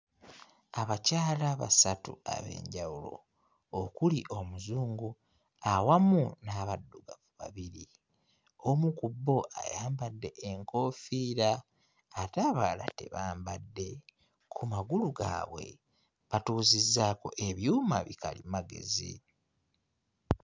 Abakyala basatu ab'enjawulo. Okuli omuzungu awamu n'abaddugavu babiri. Omu ku bo ayambadde enkoofiira ate abalala tebambadde. Ku magulu gaabwe batuuzizzaako ebyuma bikalimagezi.